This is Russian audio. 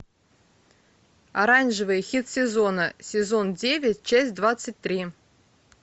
оранжевый хит сезона сезон девять часть двадцать три